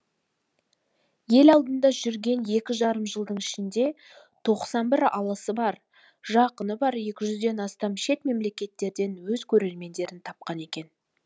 ел алдында жүрген екі жарым жылдың ішінде тоқсан бір алысы бар жақыны бар екі жүзден астам шет мемлекеттерден өз көрермендерін тапқан екен